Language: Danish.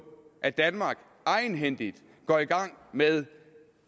at danmark egenhændigt går i gang med